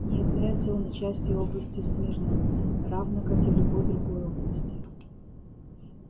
не является он и частью области смирно равно как и любой другой области